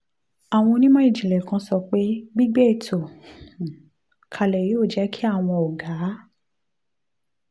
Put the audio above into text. àwọn onímọ̀ ìjìnlẹ̀ kan ti sọ pé gbígbé ètò um holdco kalẹ̀ yóò jẹ́ kí àwọn ọ̀gá